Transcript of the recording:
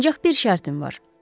Ancaq bir şərtim var.